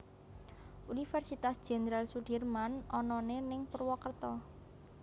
Universitas Jendral Sudirman onone ning Purwokerto